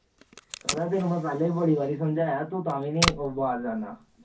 ਕਹਿੰਦਾ ਤੈਨੂੰ ਮੈ ਪਹਿਲੀ ਵੀ ਬੜੀ ਵਾਰ ਸਮਝਾਇਆ ਤੂੰ ਤਾਵੀਨੀ ਬਾਜ ਆਂਦਾ